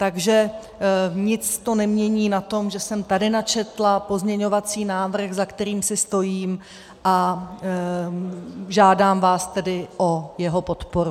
Takže nic to nemění na tom, že jsem tady načetla pozměňovací návrh, za kterým si stojím, a žádám vás tedy o jeho podporu.